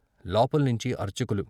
" లోపల్నించి అర్చకులు.